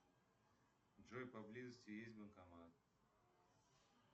джой поблизости есть банкомат